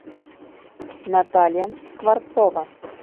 наталья скворцова